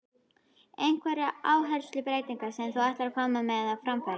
Einhverjar áherslubreytingar sem þú ætlar að koma á framfæri?